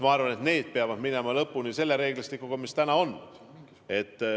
Ma arvan, et need peavad minema lõpuni selle reeglistikuga, mis täna on.